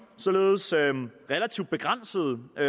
således relativt begrænsede og